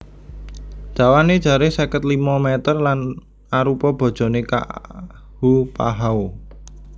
Dawané jaré seket limo m lan arupa bojoné Ka ahupahau